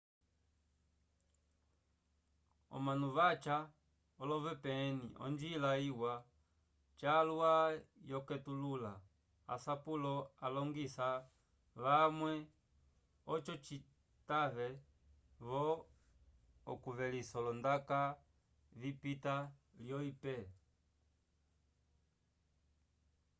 omanu vaca olo vpn onjila iwa calwa yokutetulula asapulo aliñgisa vamwe oco citave-vo okuyelisa olondaka vipita lyo ip